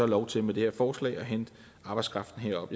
lov til med det her forslag at hente arbejdskraften herop